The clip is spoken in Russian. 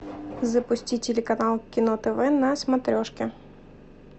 запусти телеканал кино тв на смотрешке